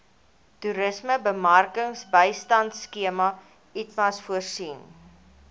toerismebemarkingbystandskema itmas voorsien